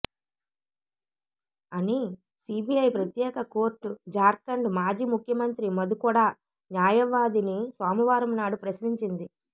అని సిబిఐ ప్రత్యేక కోర్టు జార్ఖండ్ మాజీ ముఖ్యమంత్రి మధుకొడా న్యాయవాదిని సోమవారం నాడు ప్రశ్నించింది